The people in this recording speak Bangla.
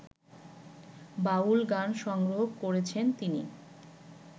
বাউল গান সংগ্রহ করেছেন তিনি